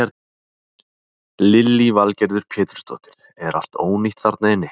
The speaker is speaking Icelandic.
Lillý Valgerður Pétursdóttir: Er allt ónýtt þarna inni?